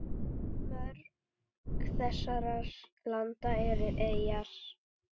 Mörg þessara landa eru eyjar.